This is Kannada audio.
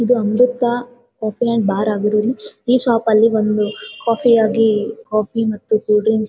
ಇದು ಅಮೃತ ಕೆಫೆ ಅಂಡ್ ಬಾರ್ ಆಗಿರೋದು ಈ ಶಾಪ್ ಅಲ್ಲಿ ಕಾಫಿ ಆಗಿ ಕಾಫೀ ಮತ್ತು ಕೂಲ್ ಡ್ರಿಂಕ್ಸ್ --